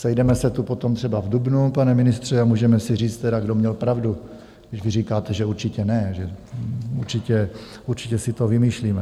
Sejdeme se tu potom třeba v dubnu, pane ministře, a můžeme si říct tedy, kdo měl pravdu, když vy říkáte, že určitě ne, že určitě si to vymýšlíme.